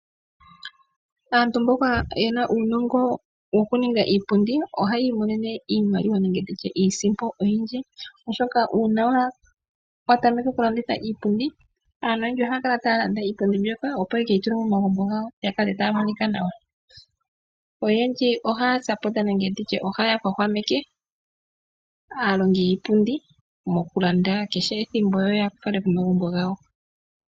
Aantu mboka yena uunongo wokuninga iipundi ohayi monene iimaliwa nenge ndi tye iisipo oyindji. Oshoka una wa tameka okulanditha iipundi, aantu oyendji ohaya kala taya landa iipundi mbyoka, opo ye keyi tule momagumbo gawo ga kala taga monika nawa. Oyendji ohaya sapota nenge ndi tye ohaya hwahwameke aalongi yiipundi mokulanda kehe ethimbo yo ya fale komagumbo gawo.